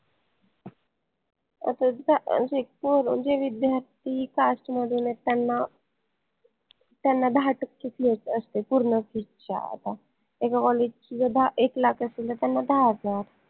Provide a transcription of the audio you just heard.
जे विद्यार्थी cast मधून आहेत त्यांना त्यांना दाहा टक्के fees असते पूर्ण fees च्या आता ची जर एक lakh असेल तर त्यांना दाहा हजार